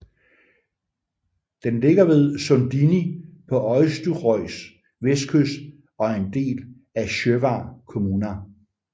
Den ligger ved Sundini på Eysturoys vestkyst og er en del af Sjóvar kommuna